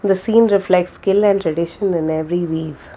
the scene reflects skill and traditional in every weave.